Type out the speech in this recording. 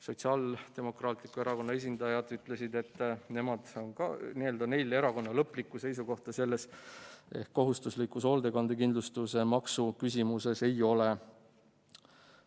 Sotsiaaldemokraatliku Erakonna esindajad ütlesid, et neil erakonnana lõplikku seisukohta selles ehk kohustuslikus hoolduskindlustuse maksu küsimuses ei ole.